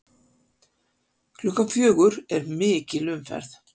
Klukkan fjögur er mikil umferð.